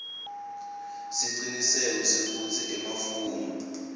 siciniseko sekutsi emafomu